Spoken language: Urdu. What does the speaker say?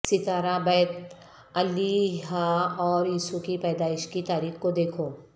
ستارہ بیت الہیہ اور یسوع کی پیدائش کی تاریخ کو دیکھو